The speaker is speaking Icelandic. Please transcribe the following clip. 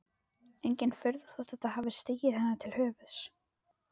Engin furða þótt þetta hafi stigið henni til höfuðs.